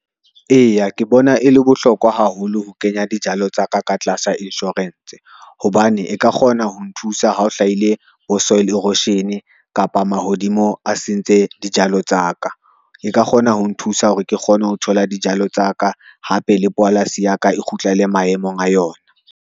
Eya, ke bona e le bohlokwa haholo ho kenya dijalo tsa ka, ka tlasa insurance hobane e ka kgona ho nthusa ha o hlahile bo soil erosion kapa mahodimo a sentse dijalo tsa ka. E ka kgona ho nthusa hore ke kgone ho thola dijalo tsa ka, hape le polasi ya ka e kgutlele maemong a yona.